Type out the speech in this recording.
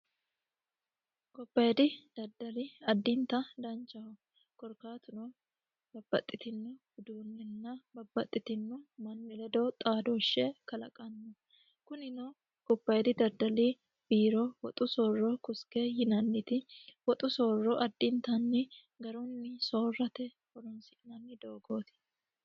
gobbayiidi daddali addinta danchaho korkaatuno babbaxxitino uduunnenna babbaxxitino manni ledoo xaadoshshe kalaqanno kunino gobbayiidi daddali biiro woxu soorro kuske yinanniti woxu soorro addintanni garunni soorrate horonsi'nanni doogooti